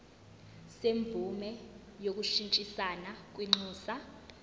semvume yokushintshisana kwinxusa